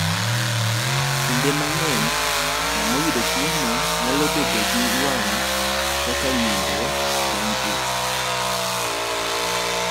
Kinde mang’eny, joma oyudo tuwono nyalo bedo gi wang’ kaka ng’injo bang’ it.